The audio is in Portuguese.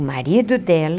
O marido dela,